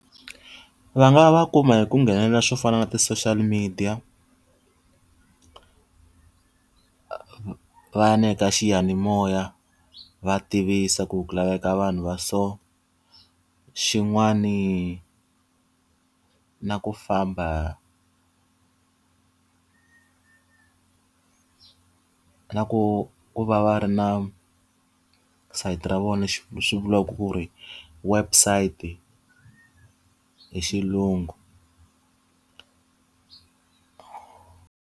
Va nga va kuma hi ku nghenelela swo fana na ti-social media va ya na le ka xiyanimoya va tivisa ku ku laveka vanhu va so. Xin'wani na ku famba na ku ku va va ri na sayiti ra vona swi vula ku ri website hi xilungu.